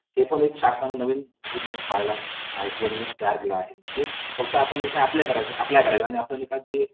Myself Prerana Supe from B. Pharm Third year Rajendra Gule college of pharmacy Malkapur माज्या topic चे नाव आहे college म्हटले कि आज देखील आठवतात